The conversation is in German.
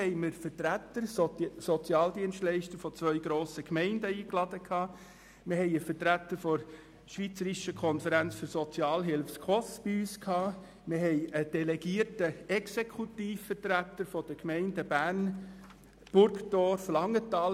Weiter luden wir Sozialdienstleiter von zwei grossen Gemeinden ein, einen Vertreter der SKOS sowie delegierte Exekutivvertreter der Gemeinden Bern, Burgdorf und Langenthal.